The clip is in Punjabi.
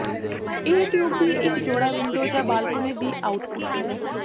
ਇਹ ਟਿਊਬ ਦੀ ਇੱਕ ਜੋੜਾ ਵਿੰਡੋ ਜ ਬਾਲਕੋਨੀ ਦੀ ਆਉਟਪੁੱਟ ਹੈ